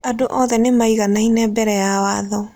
Andũ othe nĩ maiganaine mbere ya watho.